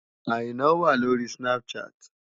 Àìná wà lórí Snapchat.